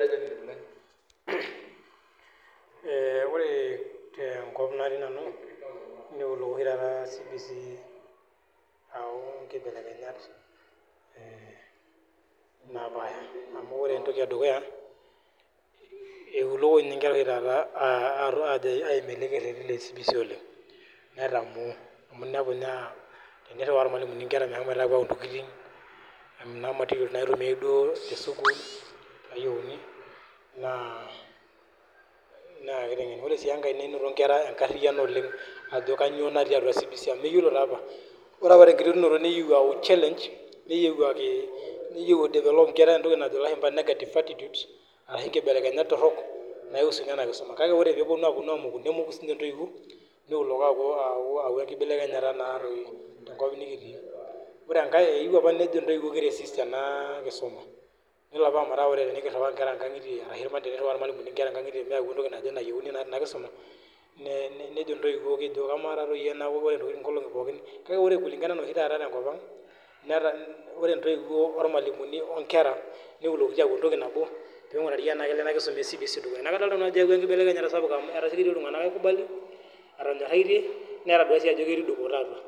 Eee ore tenkop natii nanu neewuo oshi taata CBC aau inkibelekenyat, ee napaasha amu ore entoki edukuya, eiuloki ninye oshi taata inkera aa aim elekereri le CBC oleng',netamoo amu inepu ninye aakiriwaa ilmalimuni inkera meshomo aau intokitin, kuna matiriol naitumia duo, tesukuul nayiouni naa kitenken. Ore sii enkae ninito inkera enkariyiano oleng' ajo kanyio natii atua CBC amu meyiolo taa apa. Ore apa tenkiterunoto neyieu taapa eyau challenge neyieu e development enkera entoki najo ilashumba negative attitudes ashu inkebelekenyat torok naiusu ninye kisuma. Ore ore peyie eponu aamoku, nemoku sinje intoiwuo niuloko aaku enkibekenyata naatoi tenkopang' nikitii. Ore enkae eyieu apa nejo intoiwuo ki resist enaakisuma nelo apa ometaa tenikiriwaa inkera inkankitie ashu teniriwaa ilmalimuni inkera inkankitie meeu entoki naje nayiouni tenakisuma nejo intoiwuo ama taatoi enaa keji intokitin inkolonki pookin, kake ore kulingana ana ore oshi taata tenkopang',ore intoiwuo, olmalimui, onkera niulokitio aaku entoki nabo pee inkurari enaa kelo ena kisuma e CBC dukuya. Neeku kadoolta nanu ajo eeau enkibekenyata sapuk amu etasiokito iltunganak aikubal, etonyoraitie netadua sii ajo ketii dupoto atua.